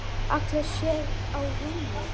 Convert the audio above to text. Hallar sér á rúmið.